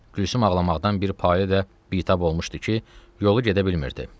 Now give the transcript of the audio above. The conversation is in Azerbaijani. Gülsüm ağlamaqdan bir payə də bitab olmuşdu ki, yolu gedə bilmirdi.